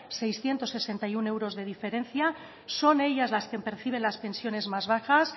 seiscientos sesenta y uno euros de diferencia son ellas las que perciben las pensiones más bajas